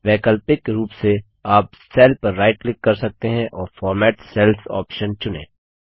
वैकल्पिक रूप से आप सेल पर राइट क्लिक कर सकते हैं और फॉर्मेट सेल्स ऑप्शन चुनें